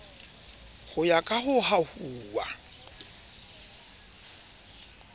ho ya ka ho hahuwa